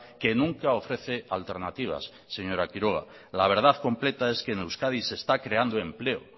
que nunca ofrece alternativas señora quiroga la verdad completa es que en euskadi se está creando empleo